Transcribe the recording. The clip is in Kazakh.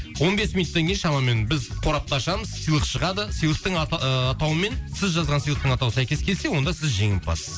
он бес минуттан кейін шамамен біз қорапты ашамыз сыйлық шығады сыйлықтың аты ыыы атауымен сіз жазған сыйлықтың атауы сәйкес келсе онда сіз жеңімпазсыз